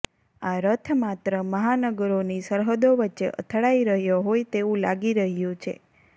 આ રથ માત્ર મહાનગરોની સરહદો વચ્ચે અથડાઈ રહ્યો હોય તેવું લાગી રહ્યું છે